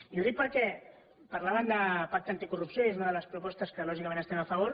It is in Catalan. i ho dic perquè parlaven de pacte anticorrupció i és una de les propostes que lògicament hi estem a favor